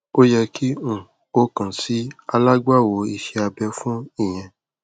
o yẹ ki um o kan si alagbawo ise abe fun iyẹn